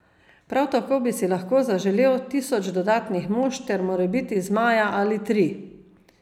Prav tako bi si lahko zaželel tisoč dodatnih mož ter morebiti zmaja ali tri.